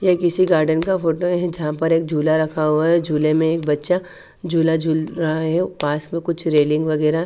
ये किसी गार्डन का फोटो का हैं जहाँ पर एक झुला रखा हुआ हैं झूले में एक बच्चा झुला झूल रहा हैं पास में कुछ रेलिंग वगेरा--